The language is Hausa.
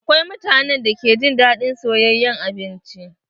Akwai mutanen da ke jin daɗin soyayen abinci.